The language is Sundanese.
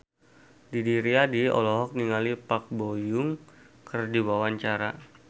Didi Riyadi olohok ningali Park Bo Yung keur diwawancara